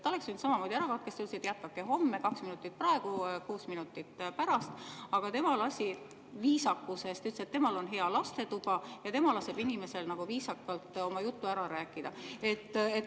Ta oleks võinud samamoodi öelda, et jätkake homme, kaks minutit saate praegu, kuus minutit, aga tema lasi viisakusest, ütles, et temal on hea lastetuba ja tema laseb viisakalt inimesel oma jutu ära rääkida.